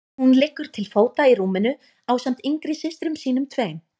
Hún liggur til fóta í rúminu ásamt yngri systrum sínum tveim.